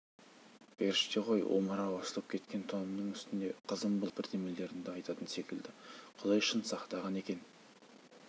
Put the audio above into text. періште ғой омырауы ашылып кеткен тонымның үстінде қызым былдырлап бірдемелерді айтатын секілді құдай шын сақтаған екен